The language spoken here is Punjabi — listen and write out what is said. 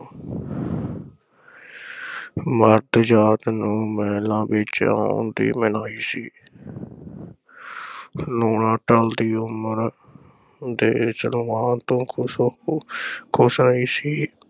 ਮਰਦ ਜਾਤ ਨੂੰ ਮਹਿਲਾਂ ਵਿਚ ਆਉਣ ਦੀ ਮਨਾਹੀ ਸੀ। ਲੂਣਾਂ ਢਲਦੀ ਉਮਰ ਦੇ ਸਲਵਾਨ ਤੋਂ ਖ਼ੁਸ਼ ਨਹੀਂ ਸੀ।